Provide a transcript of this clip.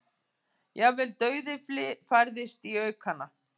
Jafnvel dauðyflið færðist í aukana.